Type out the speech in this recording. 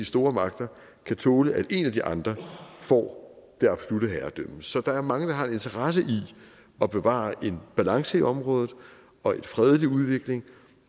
store magter kan tåle at en af de andre får det absolutte herredømme så der er mange der har en interesse i at bevare en balance i området og en fredelig udvikling